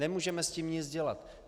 Nemůžeme s tím nic dělat.